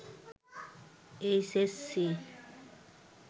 H S C